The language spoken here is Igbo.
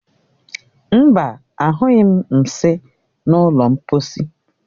Mba, anyụghi m nsị na ụlọ mposi.